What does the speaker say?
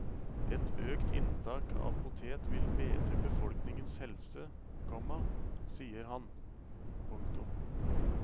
Et økt inntak av potet vil bedre befolkningens helse, komma sier han. punktum